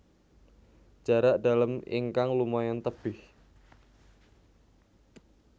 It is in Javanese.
Jarak dalem ingkang lumayan tebih